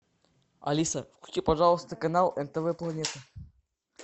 алиса включи пожалуйста канал нтв планета